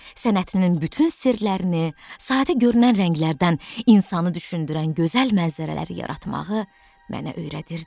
Sənətinin bütün sirlərini, sadə görünən rənglərdən insanı düşündürən gözəl mənzərələri yaratmağı mənə öyrədirdi.